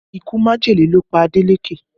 Ikú majele ló pa Adeleke